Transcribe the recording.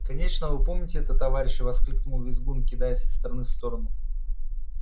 конечно вы помните это товарищи воскликнул визгун кидаясь из стороны в сторону